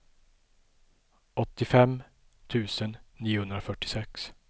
åttiofem tusen niohundrafyrtiosex